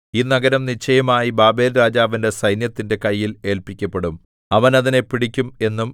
ഈ നഗരം നിശ്ചയമായി ബാബേൽരാജാവിന്റെ സൈന്യത്തിന്റെ കയ്യിൽ ഏല്പിക്കപ്പെടും അവൻ അതിനെ പിടിക്കും എന്നും